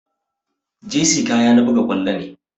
Jersey kaya na buga ƙwallo ne